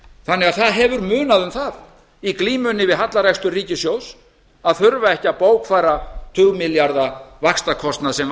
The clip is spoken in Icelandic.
þannig að það hefur munað um það í glímunni við hallarekstur ríkissjóðs að þurfa ekki að bókfæra tugmilljarða vaxtakostnað sem